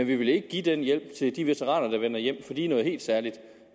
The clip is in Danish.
vil ikke give den hjælp til de veteraner der vender hjem for de er noget helt særligt